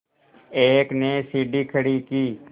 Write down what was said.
एक ने सीढ़ी खड़ी की